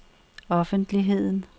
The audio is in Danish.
offentligheden